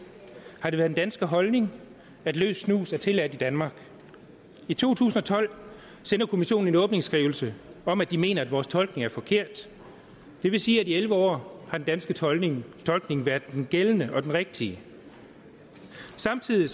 har det været den danske holdning at løs snus er tilladt i danmark i to tusind og tolv sendte kommissionen en åbningsskrivelse om at de mener at vores tolkning er forkert det vil sige at i elleve år har den danske tolkning tolkning været den gældende og den rigtige samtidig